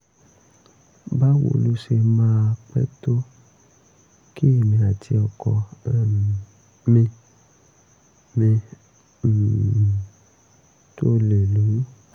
báwo ló ṣe máa pẹ́ tó kí èmi àti ọkọ um mi mi um tó lè lóyún?